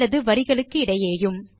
அல்லது வரிகளுக்கிடையேயும்